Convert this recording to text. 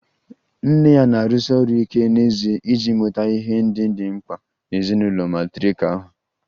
Nne ya na-arụsi ọrụ ike n'ezie iji nweta ihe ndị dị mkpa na ezinụlọ matrirkal ha